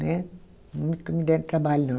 Né, nunca me deram trabalho, não.